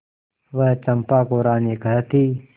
वह चंपा को रानी कहती